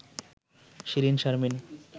Shirin Sharmin